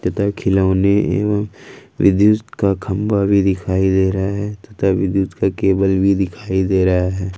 तथा खिलौने एवं विद्युत का खंबा भी दिखाई दे रहा है तथा विद्युत का केबल भी दिखाई दे रहा है।